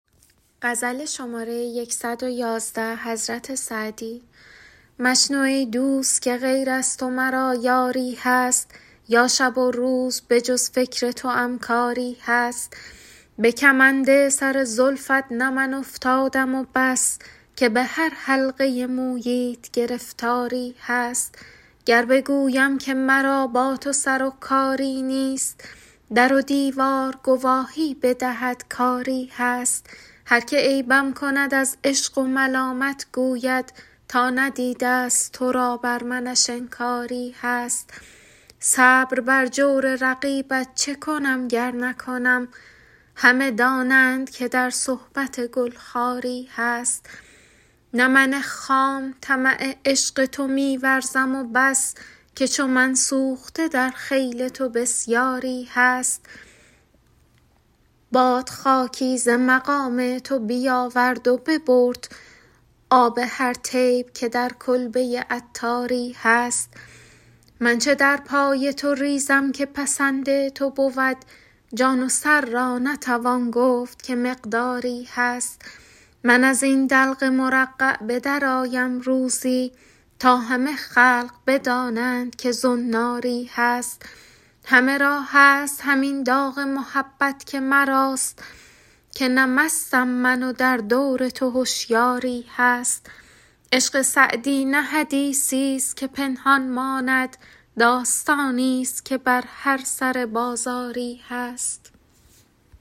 مشنو ای دوست که غیر از تو مرا یاری هست یا شب و روز به جز فکر توام کاری هست به کمند سر زلفت نه من افتادم و بس که به هر حلقه موییت گرفتاری هست گر بگویم که مرا با تو سر و کاری نیست در و دیوار گواهی بدهد کآری هست هر که عیبم کند از عشق و ملامت گوید تا ندیده است تو را بر منش انکاری هست صبر بر جور رقیبت چه کنم گر نکنم همه دانند که در صحبت گل خاری هست نه من خام طمع عشق تو می ورزم و بس که چو من سوخته در خیل تو بسیاری هست باد خاکی ز مقام تو بیاورد و ببرد آب هر طیب که در کلبه عطاری هست من چه در پای تو ریزم که پسند تو بود جان و سر را نتوان گفت که مقداری هست من از این دلق مرقع به درآیم روزی تا همه خلق بدانند که زناری هست همه را هست همین داغ محبت که مراست که نه مستم من و در دور تو هشیاری هست عشق سعدی نه حدیثی است که پنهان ماند داستانی است که بر هر سر بازاری هست